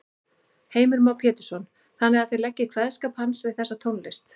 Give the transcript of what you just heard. Heimir Már Pétursson: Þannig að þið leggið kveðskap hans við þessa tónlist?